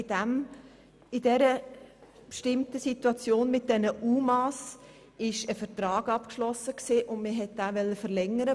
In dieser Situation mit den UMA wurde ein Vertrag abgeschlossen und man wollte ihn verlängern.